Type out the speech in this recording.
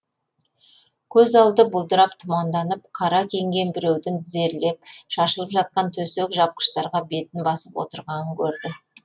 көз алды бұлдырап тұманданып қара киінген біреудің тізерлеп шашылып жатқан төсек жапқыштарға бетін басып отырғанын көрді